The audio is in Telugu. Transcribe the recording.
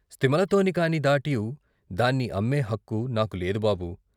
స్థిమలతోని కాని దాట్యూ దాన్ని అమ్మే హక్కు నాకు లేదు బాబూ.